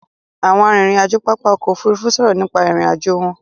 Àwọn arìnrìn-àjò pápá ọkọ̀ Òfurufú sọ̀rọ̀ nípa ìrìn-àjò wọn.